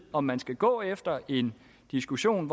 om man skal gå efter en diskussion